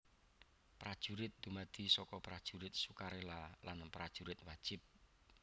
Prajurit dumadi saka Prajurit Sukarela lan Prajurit Wajib